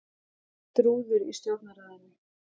Braut rúður í Stjórnarráðinu